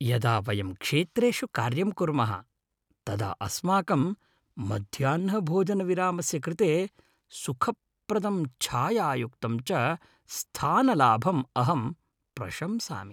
यदा वयं क्षेत्रेषु कार्यं कुर्मः तदा अस्माकं मध्याह्नभोजनविरामस्य कृते सुखप्रदं छायायुक्तं च स्थानलाभम् अहं प्रशंसामि।